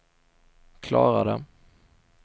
klarade